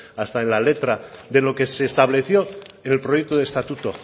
hasta en la letra de lo que se estableció en el proyecto de estatuto